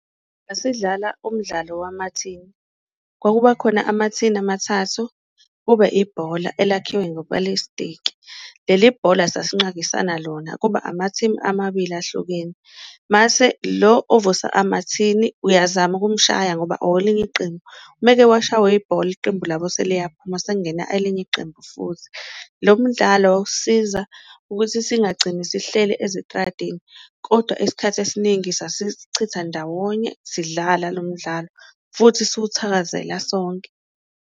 Sasidlala umdlalo wemathini kwakubakhona amathini amathathu kube ibhola elakhiwe ngoplastiki, leli bhola sasinqakisana lona kuba amathimu amabili ahlukene, mase lo ovusa amathini uyazama ukumshaya ngoba owelinye iqembu, umeke washawa ibhola iqembu labo seliyaphuma sekungena elinye iqembu futhi. Lo mdlalo wawusisiza ukuthi singagcini sihlele ezitradini kodwa isikhathi esiningi, sasisichitha ndawonye sidlala lo mdlalo futhi siwuthakazela sonke.